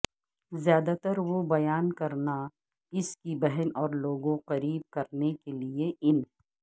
زیادہ تر وہ بیان کرنا اس کی بہن اور لوگوں قریب کرنے کے لئے ان